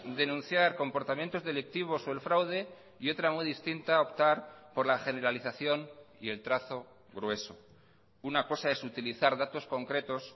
denunciar comportamientos delictivos o el fraude y otra muy distinta optar por la generalización y el trazo grueso una cosa es utilizar datos concretos